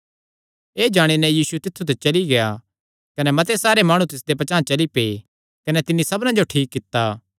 एह़ जाणी नैं यीशु तित्थु ते चली गेआ कने मते सारे माणु तिसदे पचांह़ चली पै कने तिन्नी सबना जो ठीक कित्ता